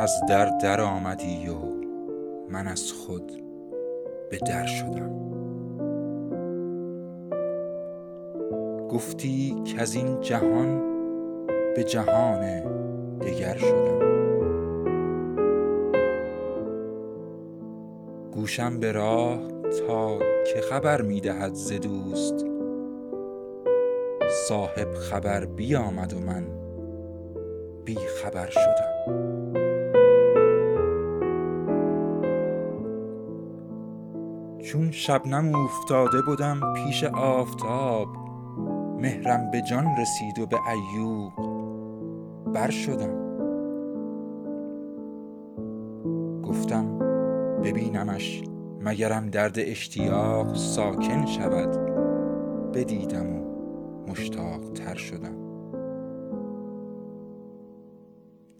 از در درآمدی و من از خود به در شدم گفتی کز این جهان به جهان دگر شدم گوشم به راه تا که خبر می دهد ز دوست صاحب خبر بیامد و من بی خبر شدم چون شبنم اوفتاده بدم پیش آفتاب مهرم به جان رسید و به عیوق بر شدم گفتم ببینمش مگرم درد اشتیاق ساکن شود بدیدم و مشتاق تر شدم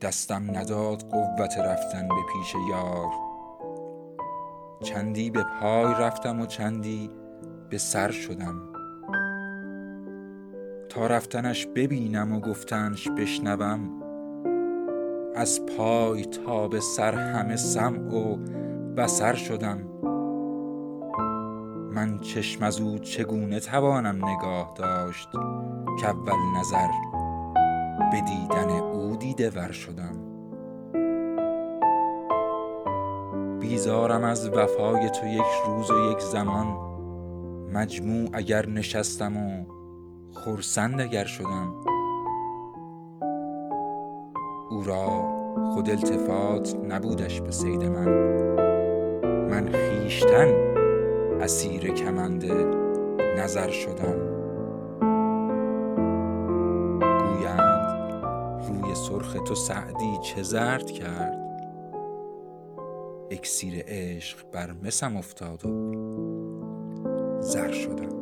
دستم نداد قوت رفتن به پیش یار چندی به پای رفتم و چندی به سر شدم تا رفتنش ببینم و گفتنش بشنوم از پای تا به سر همه سمع و بصر شدم من چشم از او چگونه توانم نگاه داشت کاول نظر به دیدن او دیده ور شدم بیزارم از وفای تو یک روز و یک زمان مجموع اگر نشستم و خرسند اگر شدم او را خود التفات نبودش به صید من من خویشتن اسیر کمند نظر شدم گویند روی سرخ تو سعدی چه زرد کرد اکسیر عشق بر مسم افتاد و زر شدم